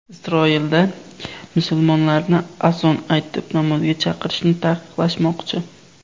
Isroilda musulmonlarni azon aytib namozga chaqirishni taqiqlashmoqchi.